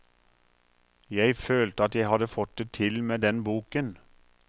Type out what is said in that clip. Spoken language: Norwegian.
Jeg følte at jeg hadde fått det til med den boken.